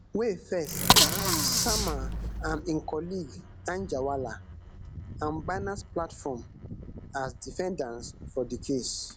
wey firs sama am im colleague anjarwalla and binance platform as defendants for di case